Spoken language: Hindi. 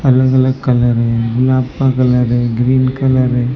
अलग अलग कलर में मुनाफा कलर है ग्रीन कलर है।